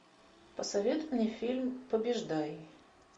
посоветуй мне фильм побеждай